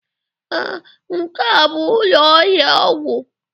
Ee, nke a bụ ụlọ ahịa ọgwụ